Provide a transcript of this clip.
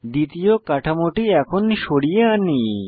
দ্বিতীয় কাঠামোটি এখন সরিয়ে আনি